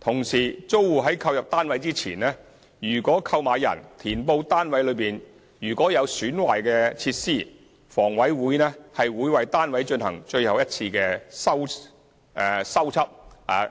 同時，租戶在購入單位前，如購買人填報單位內有損壞的設施，房委會會為單位進行最後一次修葺